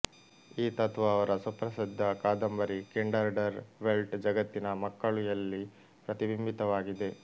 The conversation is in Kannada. ಈ ತತ್ವ ಅವರ ಸುಪ್ರಸಿದ್ಧ ಕಾದಂಬರಿ ಕಿಂಡರ್ ಡರ್ ವೆಲ್ಟ್ ಜಗತ್ತಿನ ಮಕ್ಕಳುಯಲ್ಲಿ ಪ್ರತಿಬಿಂಬಿತವಾಗಿದೆ